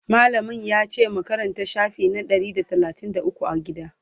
mallamin yace mu Karanta shafi na Ɗari da talatin da ukwu a gida?